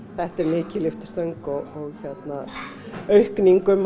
þetta er mikil lyftistöng og aukning um